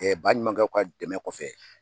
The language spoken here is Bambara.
baɲumankɛw ka dɛmɛ kɔfɛ